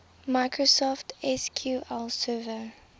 microsoft sql server